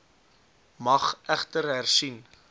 mag egter hersien